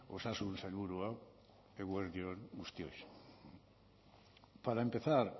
osasun sailburua eguerdi on guztioi para empezar